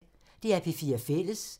DR P4 Fælles